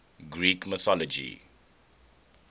greek mythology